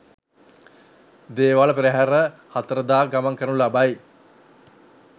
දේවාල පෙරහර 04 ද ගමන් කරනු ලබයි.